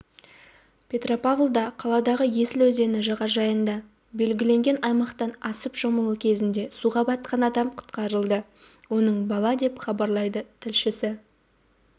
петропавлда қаладағы есіл өзені жағажайында белгіленген аймақтан асып шомылу кезінде суға батқан адам құтқарылды оның бала деп хабарлайды тілшісі